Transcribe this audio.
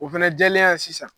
O fana jɛlenya ye sisan